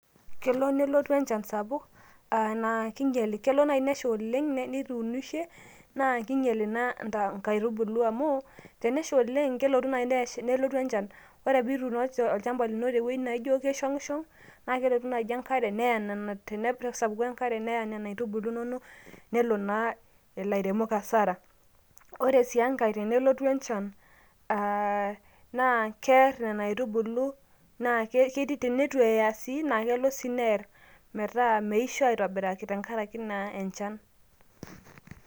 Kelo nelotu enchan sapuk a naa kingen, kelo nai nesha oleng na tenituunishe na keinyel ina nkaitubulu amu teneisho oleng amu kelo nai nelotu enchan ore peituuno olchamba lino tewueji naishongishong oleng naijo keishongishong neya nona tenelo nesapuku enkare neya nona nkaitubulu inonok nepuo naa lairemok hasara ore si enkai tenelotu enchan aah aa kear nona aitubulu naa keidim neit eya kiidim sii ataa meisho aitobiraki.